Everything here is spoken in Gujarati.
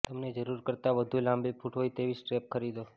તમને જરૂર કરતાં વધુ લાંબી ફુટ હોય તેવી સ્ટ્રેપ ખરીદો